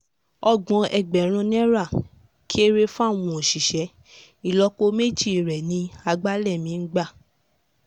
ọgbọ̀n ẹgbẹ̀rún naira kéré fáwọn òṣìṣẹ́ ìlọ́po méjì rẹ̀ ni àgbàlẹ̀ mi ń gbà